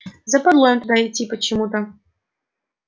западло им туда идти почему-то